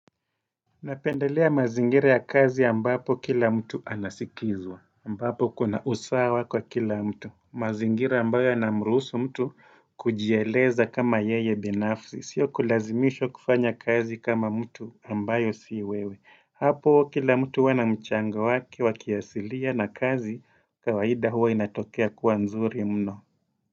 Napendelea mazingira ya kazi ambapo kila mtu anasikizwa ambapo kuna usawa kwa kila mtu mazingira ambayo yanamrusu mtu kujieleza kama yeye binafsi Sio kulazimishwa kufanya kazi kama mtu ambayo siwewe Hapo kila mtu huwa na mchango wakiasilia na kazi kawaida huwa inatokea kuwa nzuri mno.